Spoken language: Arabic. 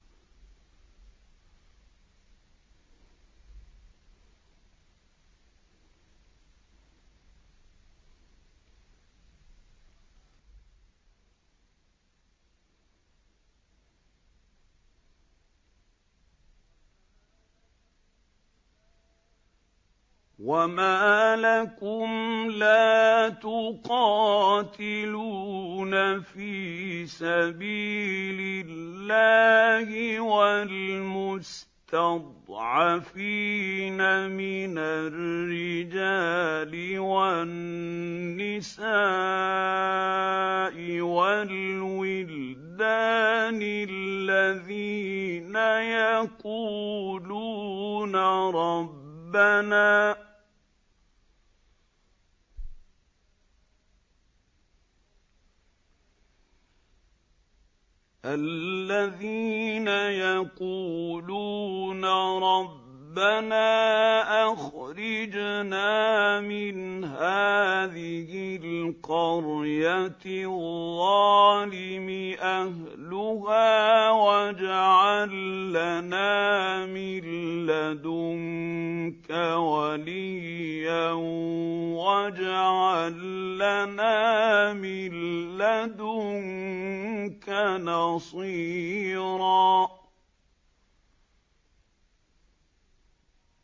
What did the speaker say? وَمَا لَكُمْ لَا تُقَاتِلُونَ فِي سَبِيلِ اللَّهِ وَالْمُسْتَضْعَفِينَ مِنَ الرِّجَالِ وَالنِّسَاءِ وَالْوِلْدَانِ الَّذِينَ يَقُولُونَ رَبَّنَا أَخْرِجْنَا مِنْ هَٰذِهِ الْقَرْيَةِ الظَّالِمِ أَهْلُهَا وَاجْعَل لَّنَا مِن لَّدُنكَ وَلِيًّا وَاجْعَل لَّنَا مِن لَّدُنكَ نَصِيرًا